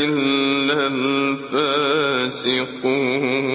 إِلَّا الْفَاسِقُونَ